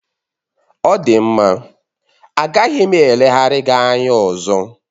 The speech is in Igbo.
Ọ dị mma, agaghị m eleghara gị anya ọzọ